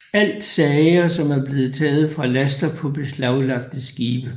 Alt sager som er blevet taget fra laster på beslaglagte skibe